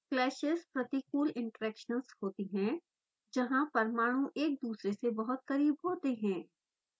clashes प्रतिकूल interactions होती हैं जहाँ परमाणु एक दुसरे से बहुत करीब होते हैं